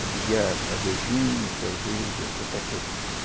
Eu bebia, às vezes, vinho, cerveja e outra coisa.